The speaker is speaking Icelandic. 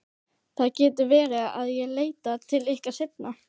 Það getur verið að ég leiti til ykkar seinna.